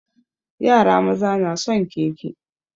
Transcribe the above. Yara maza na son keke.